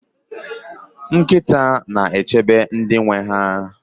nkịta na-echebe ndị nwe ha